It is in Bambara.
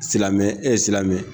Silamɛ ɛ silamɛ